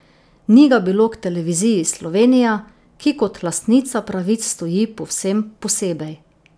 Ni ga bilo k televiziji Slovenija, ki kot lastnica pravic stoji povsem posebej.